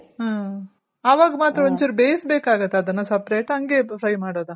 ಹ್ಮ್ ಅವಾಗ್ ಮಾತ್ರ ಒಂಚೂರು ಬೇಯ್ಸ್ ಬೇಕಾಗುತ್ತ ಅದುನ್ನ separate ಹಂಗೆ ಫ್ರೈ ಮಾಡೊದ.